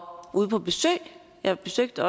ude på besøg jeg besøgte